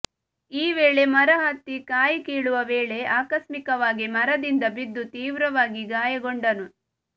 ಈ ವೇಳೆ ಮರ ಹತ್ತಿ ಕಾಯಿ ಕೀಳುವ ವೇಳೆ ಆಕಸ್ಮಿಕವಾಗಿ ಮರದಿಂದ ಬಿದ್ದು ತೀವ್ರವಾಗಿ ಗಾಯ ಗೊಂಡನು